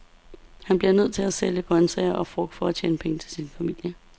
Han bliver nødt til at sælge grøntsager og frugt for at tjene penge til sin familie.